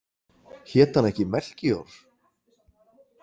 Hét hann ekki Melkíor?